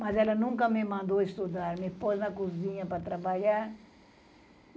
Mas ela nunca me mandou estudar, me pôs na cozinha para trabalhar.